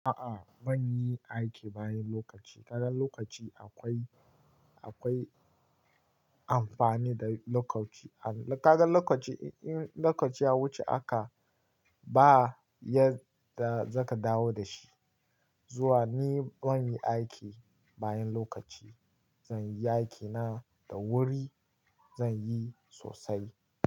A'a ban yi aiki bayan lokaci. Kaga lokaci akwai, akwai amfani da lokaci. Kaga lokaci in, in lokaci ya wuce aka ba yadda za ka dawo da shi. Zuwa ni ban yi aiki bayan lokaci. Zan yi aikina da wuri, zan yi sosai.